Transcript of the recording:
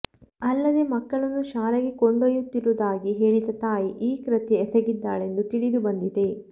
ಅಲ್ಲದೆ ಮಕ್ಕಳನ್ನು ಶಾಲೆಗೆ ಕೊಂಡೊಯುತ್ತಿರುವದಾಗಿ ಹೇಳಿದ ತಾಯಿ ಈ ಕೃತ್ಯ ಎಸೆಗಿದ್ದಾಳೆಂದು ತಿಳಿದು ಬಂದಿದೆ